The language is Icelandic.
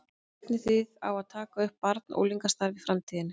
Stefnið þið á að taka upp barna og unglingastarf í framtíðinni?